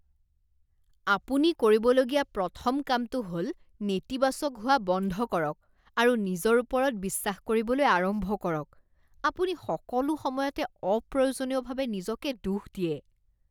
আপুনি কৰিবলগীয়া প্ৰথম কামটো হ'ল নেতিবাচক হোৱা বন্ধ কৰক আৰু নিজৰ ওপৰত বিশ্বাস কৰিবলৈ আৰম্ভ কৰক। আপুনি সকলো সময়তে অপ্ৰয়োজনীয়ভাৱে নিজকে দোষ দিয়ে।